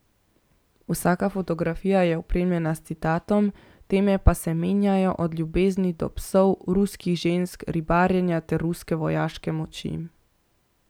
Vsaka fotografija je opremljena s citatom, teme pa se menjajo, od ljubezni do psov, ruskih žensk, ribarjenja ter ruske vojaške moči.